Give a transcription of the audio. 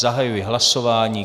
Zahajuji hlasování.